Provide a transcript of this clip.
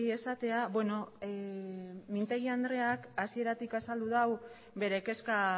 esatea beno mintegi andreak hasieratik azaldu dau bere kezka